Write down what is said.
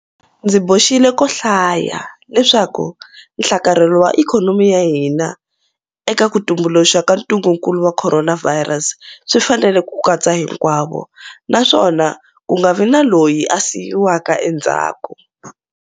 Ndzi boxile ko hlaya leswaku nhlakarhelo wa ikhonomi ya hina eka ku tumbuluka ka ntungukulu wa Khoronavhayirasi swi fanele ku katsa hinkwavo, naswona ku nga vi na loyi a siyiwaka endzhaku.